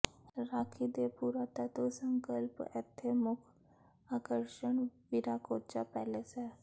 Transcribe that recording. ਰਾਖੀ ਦੇ ਪੁਰਾਤੱਤਵ ਸੰਕਲਪ ਇੱਥੇ ਮੁੱਖ ਆਕਰਸ਼ਣ ਵਿਰਾਕੋਚਾ ਪੈਲੇਸ ਹੈ